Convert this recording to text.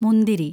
മുന്തിരി